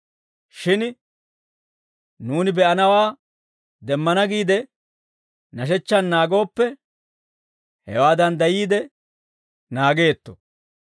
Shin nuuni be'ennawaa demmana giide, nashechchaan naagooppe, hewaa danddayiide naageetto.